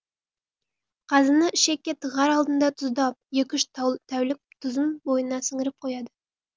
қазыны ішекке тығар алдында тұздап екі үш тәулік тұзын бойына сіңіріп қояды